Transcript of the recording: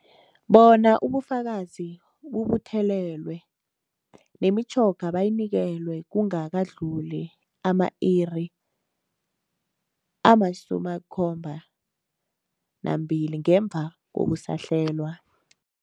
Bona ubufakazi bubuthelelwe, nemitjhoga bayinikelwe kungakadluli ama-iri ama-72 ngemva kokusahlelwa.